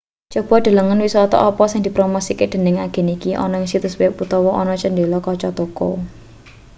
coba delengen wisata apa sing dipromosikke dening agen iki ana ning situs web utawa ana cendhela kaca toko